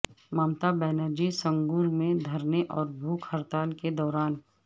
ممتا بینرجی سنگور میں دھرنے اور بھوک ہڑتال کے دوران